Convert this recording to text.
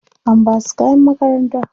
An basu kayan makaranta.